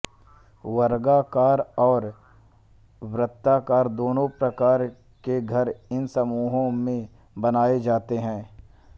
वर्गाकार और वृत्ताकार दोनों प्रकार के घर इन समूहों में बनाए जाते हैं